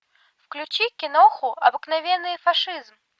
включи киноху обыкновенный фашизм